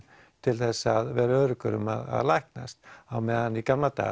til að vera öruggur um að læknast á meðan í gamla daga